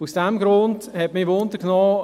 Aus diesem Grund hat mich interessiert: